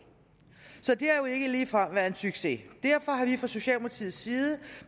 så det har jo ikke ligefrem været en succes derfor har vi fra socialdemokratiets side